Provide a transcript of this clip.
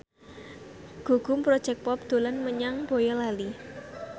Gugum Project Pop dolan menyang Boyolali